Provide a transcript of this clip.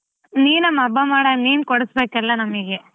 ನೀನಮ್ಮ ಹಬ್ಬ ಮಾಡನ್ ನೀನ್ ಕೊಡಸಬೇಕ್ ಎಲ್ಲ ನಮಿಗೆ.